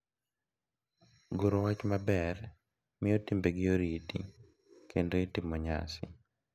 Goro wach maber miyo timbegi orit kendo itimo nyasi,